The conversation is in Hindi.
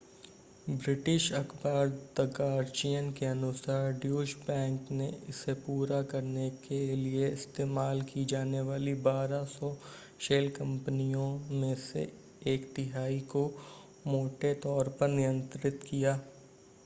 ब्रिटिश अख़बार द गार्जियन के अनुसार ड्यूश बैंक ने इसे पूरा करने के लिए इस्तेमाल की जाने वाली 1200 शेल कंपनियों में से एक तिहाई को मोटे तौर पर नियंत्रित किया